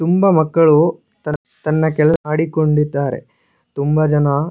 ತುಂಬಾ ಮಕ್ಕಳು ತನ್ನ ಕೆಲಸ ಮಾಡಿಕೊಂಡಿದ್ದಾರೆ ತುಂಬಾ ಜನ--